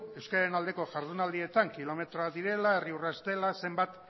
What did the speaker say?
euskararen aldeko jardunaldietan kilometroak direla herri urrats dela zenbat